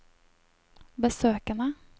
besøkene